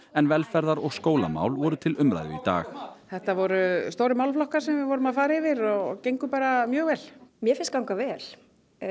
en velferðar og skólamál voru til umræðu í dag þetta voru stórir málaflokkar sem við vorum að fara yfir og gengur bara mjög vel mér finnst ganga vel